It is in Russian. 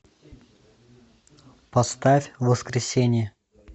поставь воскресение